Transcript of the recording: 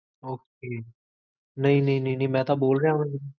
ok ਨਹੀ ਨਹੀ ਮੈ ਤਾਂ ਬੋਲ੍ਰੇਹਾ ਹਾਂ